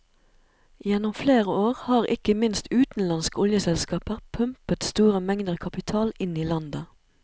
Gjennom flere år har ikke minst utenlandske oljeselskaper pumpet store mengder kapital inn i landet.